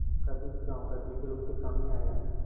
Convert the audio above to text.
कभी इस गॉँव का जिक्र उनके सामने आया